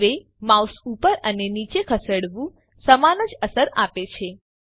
હવે માઉસ ઉપર અને નીચે ખસેડવું સમાન જ અસર આપે છે